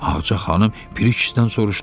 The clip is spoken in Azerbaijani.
Ağca xanım Piri kişidən soruşdu: